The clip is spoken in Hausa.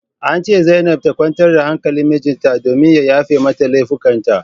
An ce zainab ta kwantar da hankalin mijinta domin ya yafe mata laifukan ta